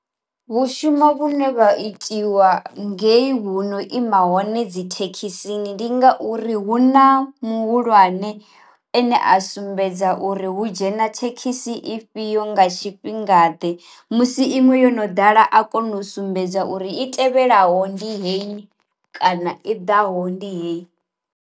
Vhu shuma vhune vha itiwa ngeyi huno ima hone dzi thekhisini ndi ngauri hu na muhulwane ane a sumbedza uri hu dzhene dzhena thekhisi i fhio nga tshifhinga ḓe musi iṅwe yo no ḓala a kone u sumbedza uri i tevhelaho ndi heyi kana i ḓaho ndi heyi.